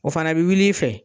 O fana bi wul'i fɛ.